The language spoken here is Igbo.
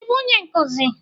Ị bụ onye nkuzi?